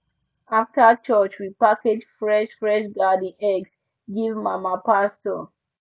after church we package fresh fresh garden eggs give mama pastor